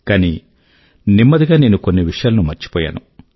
కానీ నెమ్మది గా నేను కొన్ని విషయాల ను మర్చిపోయాను